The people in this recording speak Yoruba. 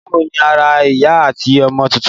Báwo ni ara ìyá àti ọmọ tuntun?